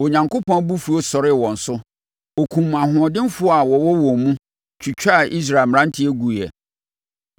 Onyankopɔn abufuo sɔree wɔn so; ɔkum ahoɔdenfoɔ a wɔwɔ wɔn mu twitwaa Israel mmeranteɛ guiɛ.